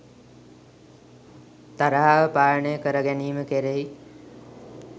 තරහව පාලනය කර ගැනීම කෙරෙහි